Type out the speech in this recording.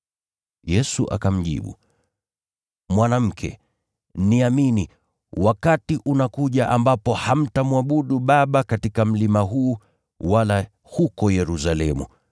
Yesu akamjibu, “Mwanamke, niamini, wakati unakuja ambapo hamtamwabudu Baba katika mlima huu, wala huko Yerusalemu.